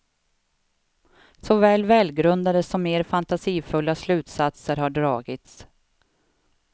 Såväl välgrundade som mer fantasifulla slutsatser har dragits.